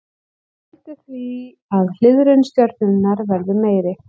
Það veldur því að hliðrun stjörnunnar verður meiri.